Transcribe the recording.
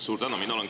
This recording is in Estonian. Suur tänu!